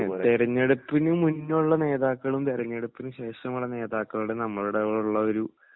തെരഞ്ഞെടുപ്പിനു മുന്നേയുള്ള നേതാക്കളും തെരഞ്ഞെടുപ്പിനു ശേഷമുള്ള നേതാക്കളുടെ നമ്മളോട് ഉള്ള ഒരു